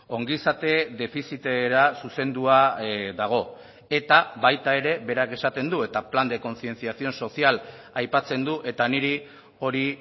ongizate defizitera zuzendua dago eta baita ere berak esaten du eta plan de concienciación social aipatzen du eta niri hori